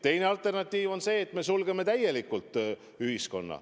Teine alternatiiv on see, et me sulgeme ühiskonna täielikult.